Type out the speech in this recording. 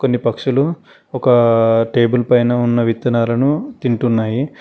ఈ పక్షులు ఒక టేబుల్ పైన ఉన్న విత్తనాలను తింటున్నాయి.